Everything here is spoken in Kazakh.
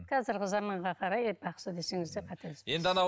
қазіргі заманға қарай бақсы десеңіз де қателеспейсіз